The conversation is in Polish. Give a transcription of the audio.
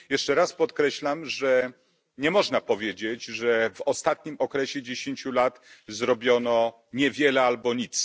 Jeszcze raz podkreślam, że nie można powiedzieć, że w ostatnim okresie 10 lat zrobiono niewiele albo nic.